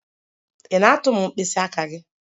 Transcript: Ị na-atụ m mkpịsị aka gị?